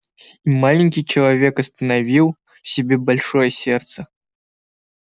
и маленький человек остановил в себе большое сердце